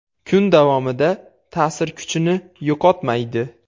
Kun davomida ta’sir kuchini yo‘qotmaydi.